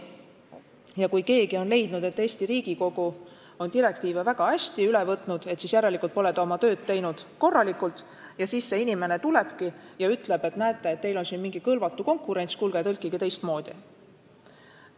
Ja kui keegi on leidnud, et Eesti Riigikogu pole direktiive väga hästi üle võtnud, pole oma tööd teinud korralikult, ja see inimene tulebki ja ütleb, et näete, teil on siin mingi "kõlvatu konkurents" – kuulge, tõlkige teistmoodi!